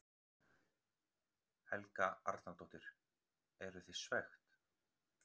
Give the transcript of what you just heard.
Helga Arnardóttir: Eru þið svekkt?